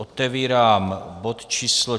Otevírám bod číslo